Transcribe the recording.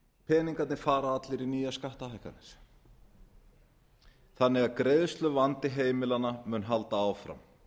peningarnir fara allir í nýjar skattahækkanir þannig að greiðsluvandi heimilanna mun halda áfram hann